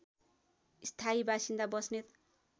स्थायी बासिन्दा बस्नेत